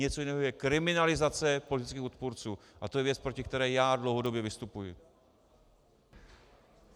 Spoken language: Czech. Něco jiného je kriminalizace politických odpůrců a to je věc, proti které já dlouhodobě vystupuji.